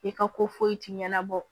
I ka ko foyi ti ɲɛnabɔ